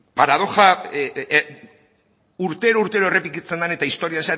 urtero urtero errepikatzen den eta historian